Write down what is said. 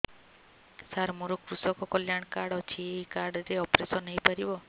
ସାର ମୋର କୃଷକ କଲ୍ୟାଣ କାର୍ଡ ଅଛି ଏହି କାର୍ଡ ରେ ଅପେରସନ ହେଇପାରିବ